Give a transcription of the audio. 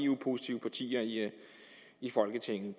eu positive partier i folketinget